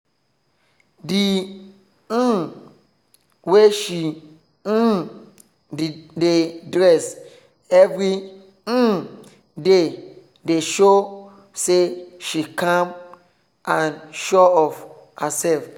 the um way she um dey dress every um day dey show say she calm and sure of herself